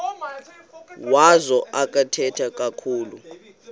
wazo akathethi kakhulu